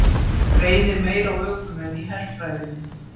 Reynir meira á ökumenn í herfræðinni